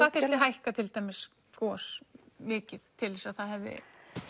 hækka til dæmis gos mikið til þess að það hefði